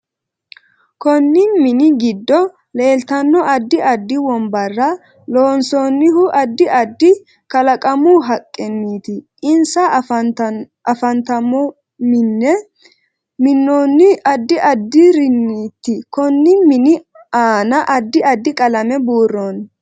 Konni mini giddo leeltanno addi addi wonbbarra loonsoonihu addi addi kalaqamu haqqiniiti insa afantannomine minonihu addi addiriniiti konni mini aanna addi addi qalame buurooni